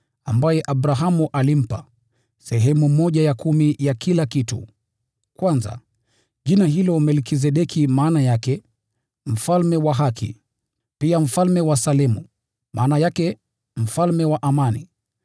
naye Abrahamu alimpa sehemu ya kumi ya kila kitu. Kwanza, jina hilo Melkizedeki maana yake ni “mfalme wa haki.” Na pia “mfalme wa Salemu” maana yake ni “mfalme wa amani.”